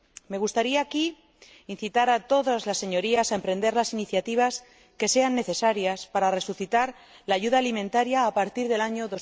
Me gustaría aquí incitar a todas sus Señorías a emprender las iniciativas que sean necesarias para resucitar la ayuda alimentaria a partir del año